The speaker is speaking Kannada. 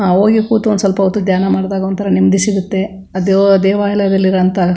ಆಹ್ಹ್ ಹೋಗಿ ಕೂತ್ಕೊಂಡು ಸ್ವಲ್ಪ ಹೊತ್ತು ಧ್ಯಾನ ಮಾಡದಾಗ ಒಂತರ ನೆಮ್ಮದಿ ಸಿಗುತ್ತೆ ಅದು ದೇವಾಲಯದಲ್ಲಿ ಇರೋ ಅಂತ --